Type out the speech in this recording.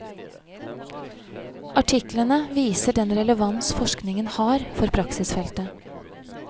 Artiklene viser den relevans forskningen har for praksisfeltet.